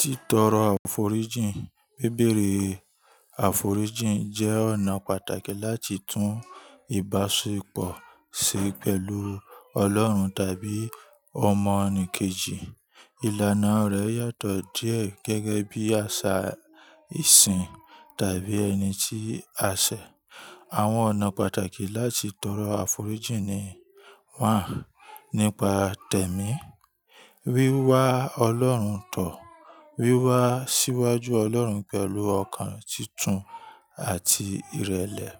Títọrọ àforíjìn. Bébèrè àforíjìn jẹ́ ọ̀nà pàtàkì láti tún ìbáṣepọ̀ ṣe pẹ̀lú Ọlọ́run tàbí ọmọnìkejì. Ìlànà rẹ̀ yàtọ̀ díẹ̀ gẹ́gẹ́ bí àṣà ìsìn tàbí ẹni tí a ṣẹ̀. Àwọn ọ̀nà pàtàkì láti tọrọ àforíjìn ni: nípa tẹ̀mí, wíwá Ọlọ́run tọ̀, wíwá síwájú Ọlọ́run pẹ̀lú ọkàn títún àti ìrẹ̀lẹ̀,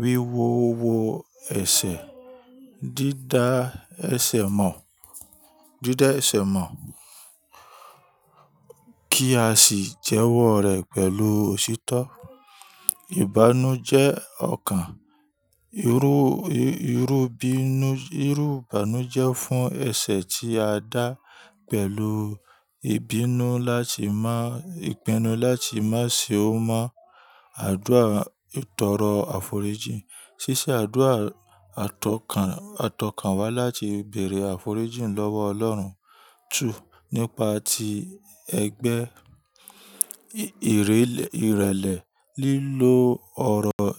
wíwo owó ẹ̀ṣẹ̀, dídá ẹ̀ṣẹ̀ mọ̀, dídá ẹ̀ṣẹ̀ mọ̀ kí a sì jẹ́wọ́ rẹ̀ pẹ̀lú òtítọ́. Ìbánújẹ́ ọkàn, irú, irú bínú, irú ìbànújẹ́ fún ẹ̀ṣẹ̀ tí a dá pẹ̀lú ìbínú láti má, ìpinnu láti má ṣe ó mọ́ àdúrà ìtọrọ àforíjìn. Síṣẹ́ àdúrà àtọ̀kàn, àtọ̀kàn wá láti bèèrè àforíjìn lọ́wọ́ Ọlọ́run. Nípa ti ẹgbẹ́, ìrẹ́lẹ̀, ìrẹ́lẹ̀ lílo ọ̀rọ̀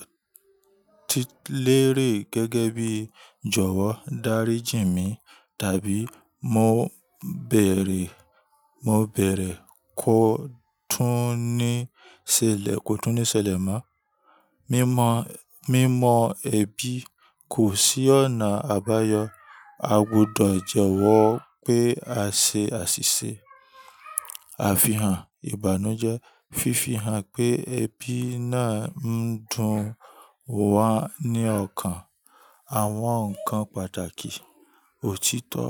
tí lérè gẹ́gẹ́ bí "Jọ̀wọ́ dáríji mi" tàbí "Mo bèèrè, mo bèèrè kó túnní ṣẹlẹ̀, kó túnní ṣẹlẹ̀ mọ́". Mímọ, mímọ ẹ̀bi kò sí ọ̀nà àbáyọ, a gbọdọ̀ jẹ́wọ́ pé a ṣe àṣìṣe. Àfihàn ìbànújẹ́. Fifi hàn pé ẹbí náà ń dùn wa ní ọkàn. Àwọn ǹkan pàtàkì. Òtítọ́.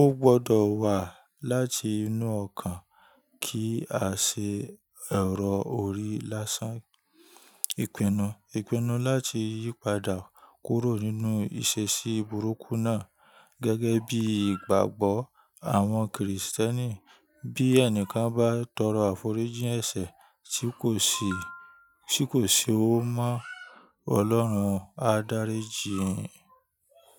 Ó gbọ́dọ̀ wá láti inú ọkàn kí a ṣe ẹ̀rọ orí lásán. Ìpinnu. Ìpinnu láti yípadà kúrò nínú ìṣesí burúkú náà gẹ́gẹ́ bí ìgbàgbọ́ àwọn kìrìsìtẹ́nì. Bí ẹnìkan bá tọrọ àforíjìn ẹ̀ṣẹ̀ tí kò ṣe, tí kò ṣe ó mọ́, Ọlọ́run á dáríji.